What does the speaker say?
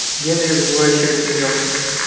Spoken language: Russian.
генри вызывающе рассмеялся